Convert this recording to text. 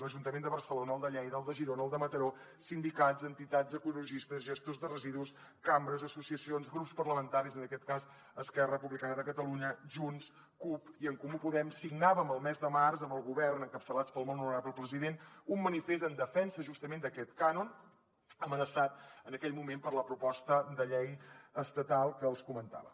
l’ajuntament de barcelona el de lleida el de girona el de mataró sindicats entitats ecologistes gestors de residus cambres associacions grups parlamentaris en aquest cas esquerra republicana de catalunya junts cup i en comú podem signàvem el mes de març amb el govern encapçalats pel molt honorable president un manifest en defensa justament d’aquest cànon amenaçat en aquell moment per la proposta de llei estatal que els comentava